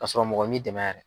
k'a sɔrɔ mɔgɔ min dɛmɛ yɛrɛ.